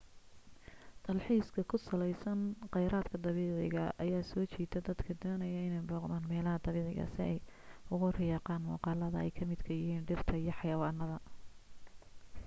dalxiiska ku saleysan qeyraadka dabiiciga ayaa soo jiita dadka daneynaya inee booqdaan meelaha dabiiciga si ay ugu riyaaqan muuqaladaa ay ka midka yihiin dhirta iyo xayawaanada